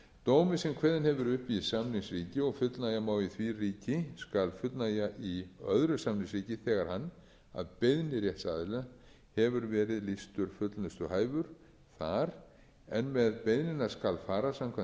dómi sem kveðinn hefur verið upp í samningsríki og fullnægja má í því ríki skal fullnægja í öðru samningsríki þegar hann að beiðni rétts aðila hefur verið lýstur fullnustuhæfur þar en með beiðnina skal fara samkvæmt